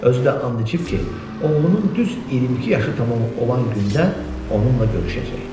Özü də and içib ki, oğlunun düz 22 yaşı tamam olan gündə onunla görüşəcək.